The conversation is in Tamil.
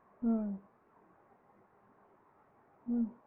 உம் உம்